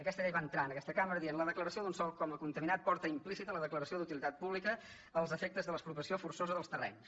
aquesta llei va entrar en aquesta cambra dient la declaració d’un sòl com a contaminat porta implícita la declaració d’utilitat pública als efectes de l’expropiació forçosa dels terrenys